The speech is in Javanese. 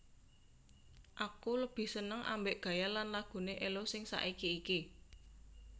Aku lebih seneng ambek gaya lan lagune Ello sing saiki iki